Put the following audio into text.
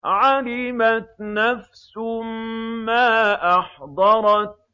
عَلِمَتْ نَفْسٌ مَّا أَحْضَرَتْ